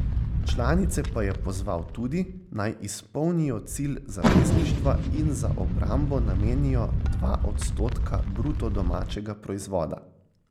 Članice pa je pozval tudi, naj izpolnijo cilj zavezništva in za obrambo namenijo dva odstotka bruto domačega proizvoda.